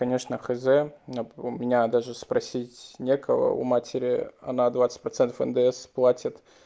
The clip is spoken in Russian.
конечно хз у меня даже спросить некого у матери она двадцать процентов ндс платит